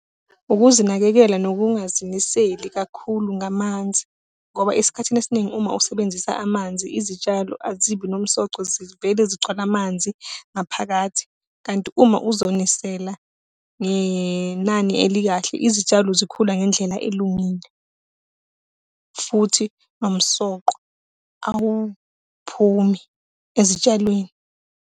Ukuzinakekela nokungazimiseli kakhulu ngamanzi. Ngoba esikhathini esiningi uma usebenzisa amanzi, izitshalo azibi nomsoco zivele zigcwale amanzi ngaphakathi. Kanti uma uzonisela ngenani elikahle, izitshalo zikhula ngendlela elungile, futhi nomsoqo awuphumi ezitshalweni.